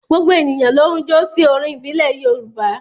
Gbogbo ènìyàn ló ń jó sí orin ìbílẹ̀ Yorùbá.